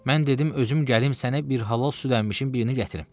Mən dedim özüm gəlim sənə bir halal süd əmmişin birini gətirim.